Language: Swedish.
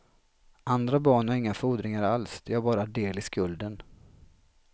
Andra barn har inga fordringar alls, de har bara del i skulden.